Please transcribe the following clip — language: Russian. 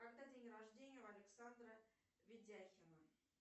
когда день рождения у александра ведяхина